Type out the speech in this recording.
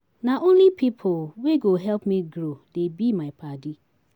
Na only pipu wey go help me grow dey be my paddy.